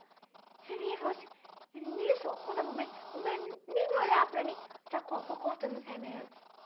Você vê que eu assim, e nisso, conta para mim, nem me olhar para mim, já co foi cortando os remédios.